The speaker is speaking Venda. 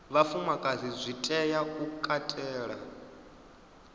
vhafumakadzi zwi tea u katela